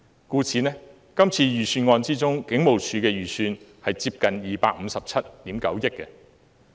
故此，在這次預算案之中，警務處的預算接近257億 9,000 萬元。